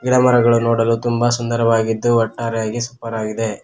ಗಿಡ ಮರಗಳು ನೋಡಲು ತುಂಬಾ ಸುಂದರವಾಗಿದ್ದು ಒಟ್ಟಾರೆಯಾಗಿ ಸೂಪರ್ ಆಗಿದೆ.